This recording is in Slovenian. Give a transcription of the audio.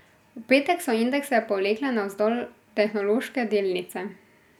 V petek so indekse povlekle navzdol tehnološke delnice.